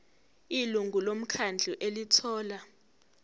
ilungu lomkhandlu elithola